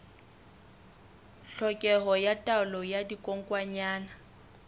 tlhokeho ya taolo ya dikokwanyana